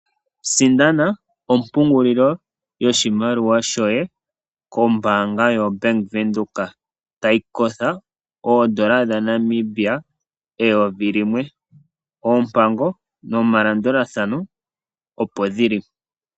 Sindana ompungulilo yoshimaliwa shoye kombaanga yobank Windhoek, tayi kosha oodolla dhaNamibia eyovi limwe. Oompango nomalandulathano opo dhili.